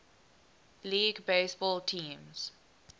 league baseball teams